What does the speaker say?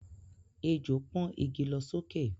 Ejò pọ́n igi lọ sókè